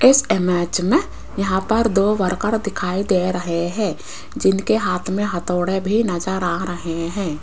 इस इमेज में यहां पर दो वर्कर दिखाई दे रहे है जिनके हाथ में हथौड़े भी नज़र आ रहे हैं।